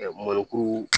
Ɛɛ mɔnikuru